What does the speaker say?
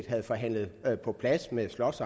havde forhandlet på plads med slots